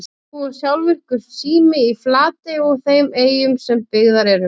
Nú er sjálfvirkur sími í Flatey og þeim eyjum sem byggðar eru.